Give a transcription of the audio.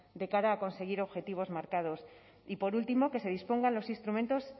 de cara a conseguir objetivos marcados y por último que se dispongan los instrumentos